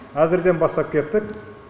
әзірден бастап кеттік